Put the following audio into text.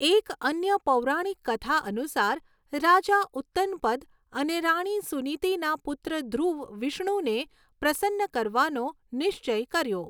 એક અન્ય પૌરાણિક કથા અનુસાર રાજા ઉત્તનપદ અને રાણી સુનીતિના પુત્ર ધ્રુવ વિષ્ણુને પ્રસન્ન કરવાનો નિશ્ચય કર્યો.